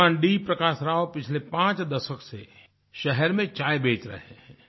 श्रीमान् डी प्रकाश राव पिछले पाँच दशक से शहर में चाय बेच रहे हैं